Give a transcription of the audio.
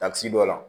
Tasi dɔ la